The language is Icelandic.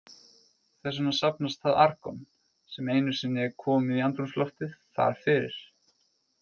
Þess vegna safnast það argon, sem einu sinni er komið í andrúmsloftið, þar fyrir.